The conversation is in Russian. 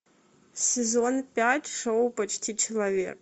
сезон пять шоу почти человек